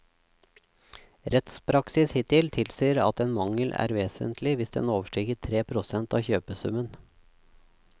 Rettspraksis hittil tilsier at en mangel er vesentlig hvis den overstiger tre prosent av kjøpesummen.